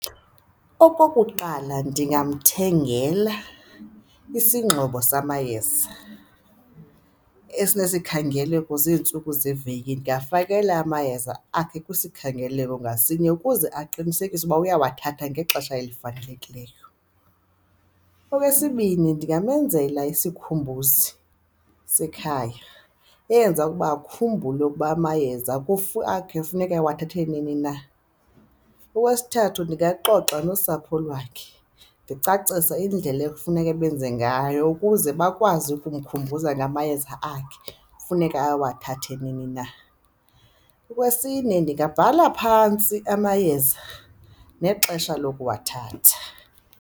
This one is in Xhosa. Okokuqala, ndingamthengela isingxobo samayeza esinesikhangeloko zeentsuku zeveki, ndingafakela amayeza akhe kwisikhangaleko ngasinye ukuze aqinisekise ukuba uyawathatha ngexesha elifanelekileyo. Okwesibini, ndingamenzela isikhumbuzi sekhaya, eyenza ukuba akhumbule ukuba amayeza akhe kufuneka ewathathe nini na. Owesithathu, ndingaxoxa nosapho lwakhe, ndicacise indlela ekufuneke benze ngayo ukuze bakwazi ukumkhumbuza ngamayeza akhe kufuneka awathathe nini na. Okwesine, ndingabhala phantsi amayeza nexesha lokuwathatha.